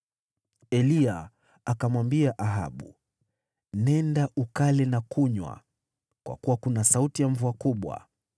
Eliya akamwambia Ahabu, “Nenda, ukale na kunywa, kwa kuwa kuna sauti ya mvua kubwa.”